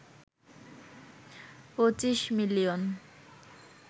২৫ million